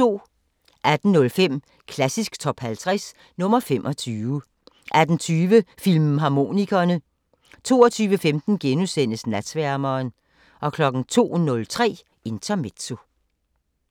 18:05: Klassisk Top 50 – nr. 25 18:20: Filmharmonikerne 22:15: Natsværmeren * 02:03: Intermezzo